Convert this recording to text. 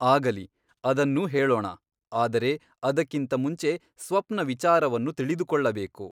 ಆಗಲಿ ಅದನ್ನೂ ಹೇಳೋಣ ಆದರೆ ಅದಕ್ಕಿಂತ ಮುಂಚೆ ಸ್ವಪ್ನ ವಿಚಾರವನ್ನು ತಿಳಿದುಕೊಳ್ಳಬೇಕು.